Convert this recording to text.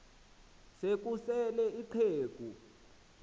se kusel ixheg